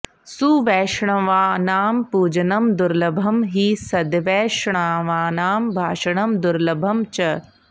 सुवैष्णवानां पुजनं दुर्लभं हि सद्वैष्णवानां भाषणं दुर्लभं च